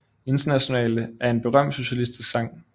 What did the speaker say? Internationale er en berømt socialistisk sang